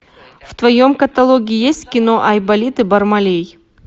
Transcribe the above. в твоем каталоге есть кино айболит и бармалей